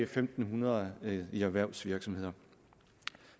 fem hundrede i erhvervsvirksomheder